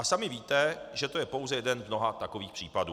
A sami víte, že to je pouze jeden z mnoha takových případů.